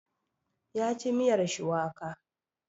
Ya ci miyar shuwaka.